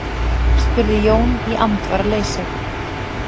spurði Jón í andvaraleysi.